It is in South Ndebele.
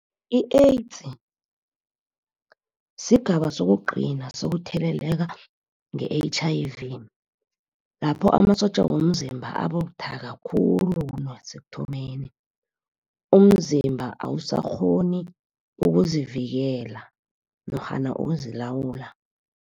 I-AIDS, sigaba sokugcina sokutheleleka nge-H_I_V. Lapho amasotja womzimba ababuthaka khulu kunasekuthomeni. Umzimba awusakghoni ukuzivikela norhana ukuzilawula.